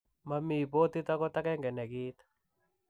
Mami botit agot agenge ne kiit.